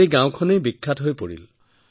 গতিকে গাওঁখন বিখ্যাত হৈ পৰিল ছাৰ